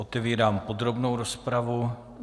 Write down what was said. Otevírám podrobnou rozpravu.